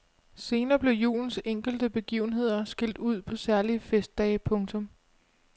Senere blev julens enkelte begivenheder skilt ud på særlige festdage. punktum